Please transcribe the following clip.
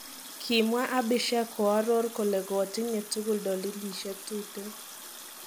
Kimwaa Abhishek kooror kole gotinye tugul dolilisiek tuten.